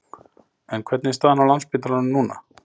En hvernig er staðan á Landspítalanum núna?